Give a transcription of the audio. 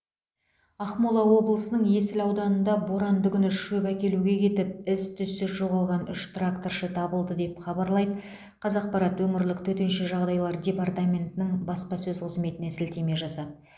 ақмола облысының есіл ауданында боранды күні шөп әкелуге кетіп із түзсіз жоғалған үш тракторшы табылды деп хабарлайды қазақпарат өңірлік төтенше жағдайлар департаментінің баспасөз қызметіне сілтеме жасап